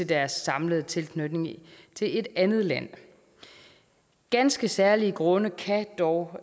deres samlede tilknytning til et andet land ganske særlige grunde kan dog